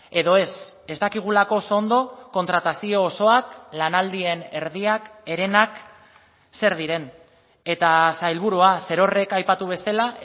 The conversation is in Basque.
edo ez ez dakigulako oso ondo kontratazio osoak lanaldien erdiak herenak zer diren eta sailburua zerorrek aipatu bezala